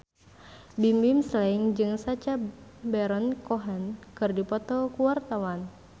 Bimbim Slank jeung Sacha Baron Cohen keur dipoto ku wartawan